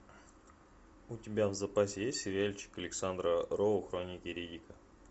у тебя в запасе есть сериальчик александра роу хроники риддика